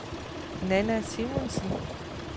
Nanna Simonsen